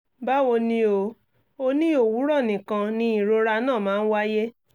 báwo ni o? o ní òwúrọ̀ nìkan ni ìrora náà máa ń wáyé